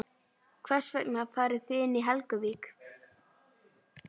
Hvers vegna farið þið inn í Helguvík?